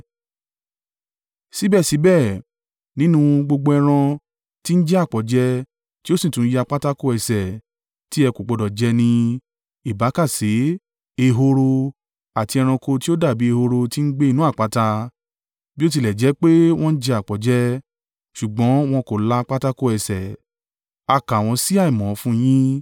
Síbẹ̀síbẹ̀ nínú gbogbo ẹran tí ń jẹ àpọ̀jẹ tí ó sì tún ya pátákò ẹsẹ̀ tí ẹ kò gbọdọ̀ jẹ ni: ìbákasẹ, ehoro, àti ẹranko tí ó dàbí ehoro tí ń gbé inú àpáta. Bí ó tilẹ̀ jẹ́ pé wọ́n jẹ àpọ̀jẹ, ṣùgbọ́n wọn kò la pátákò ẹsẹ̀, a kà wọ́n sí àìmọ́ fún yín.